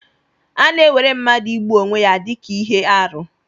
A na-ewere mmadụ igbu onwe ya dị ka ihe arụ.